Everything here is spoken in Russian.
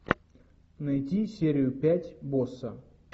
найти серию пять босса